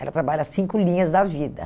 Ela trabalha cinco linhas da vida.